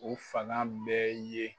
O fanga bɛɛ ye